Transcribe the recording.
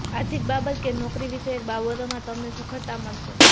આર્થિક બાબતો કે નોકરી વિષયક બાબતોમાં તમને સફળતા મળશે